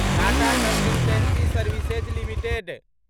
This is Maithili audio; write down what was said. Tata consultancy services limited